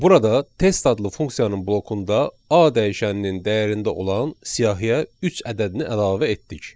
Burada test adlı funksiyanın blokunda A dəyişənin dəyərində olan siyahıya üç ədədini əlavə etdik.